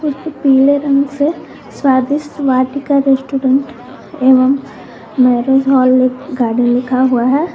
उसपे पीले रंग से स्वादिष्ट वाटिका रेस्टोरेंट एवं मैरिज हॉल गार्डन लिखा हुआ है।